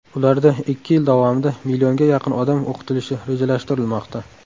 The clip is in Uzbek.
Ularda ikki yil davomida millionga yaqin odam o‘qitilishi rejalashtirilmoqda.